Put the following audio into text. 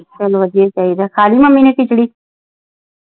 ਚਲ ਵਧੀਆ ਈ ਚਾਹੀਦਾ। ਖਾਲੀ ਮੰਮੀ ਨੇ ਖਿਚੜੀ?